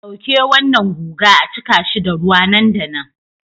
Dauke wannan guga a cika shi da ruwa nan da nan